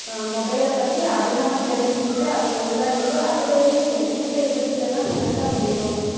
ஆஹ் mobile ஐப் பத்தி அதிகமா தெரிஞ்சுக்கிட்டு அதுக்கு உள்ளாடிப் போய் அதிலே இருந்து எந்தெந்த விதத்திலே எல்லாம் திருட முடியும்